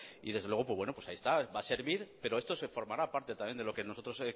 y desde luego ahí está va a servir pero esto formará parte de lo que nosotros